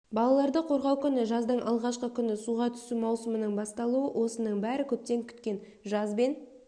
балаларды қорғау күні жаздың алғашқы күні суға түсу маусымының басталуы осының бәрі көптен күткен жаз бен